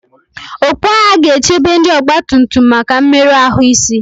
okpu agha ga-echebe ndị ọgbatumtum maka mmerụ ahụ isi